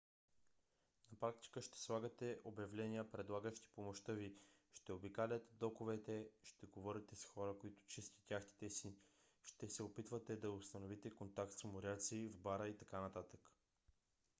на практика ще слагате обявления предлагащи помощта ви ще обикаляте доковете ще говорите с хора които чистят яхтите си ще се опитвате да установите контакт с моряци в бара и т.н